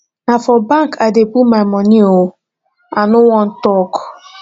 na for bank i dey put my money oo i no wan talk